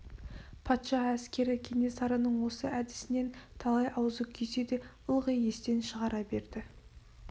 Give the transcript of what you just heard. патша әскері кенесарының осы әдісінен талай аузы күйсе де ылғи естен шығара берді